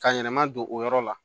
Ka yɛlɛma don o yɔrɔ la